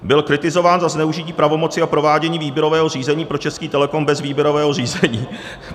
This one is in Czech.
Byl kritizován za zneužití pravomoci a provádění výběrového řízení pro Český Telecom bez výběrového řízení.